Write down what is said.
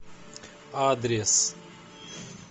адрес